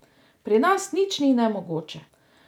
Pri nas nič ni nemogoče!